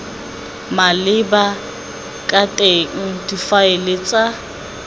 maleba ka teng difaele tsa